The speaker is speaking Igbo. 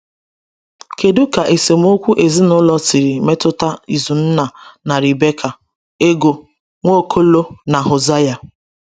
Kedu ka esemokwu ezinụlọ siri metụta Izunna na Rebekah, Ego, Nwaokolo, na Hosea?